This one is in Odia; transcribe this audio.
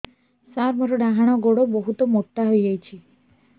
ସାର ମୋର ଡାହାଣ ଗୋଡୋ ବହୁତ ମୋଟା ହେଇଯାଇଛି